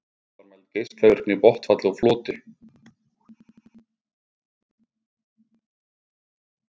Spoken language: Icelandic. Loks var mæld geislavirkni í botnfalli og floti.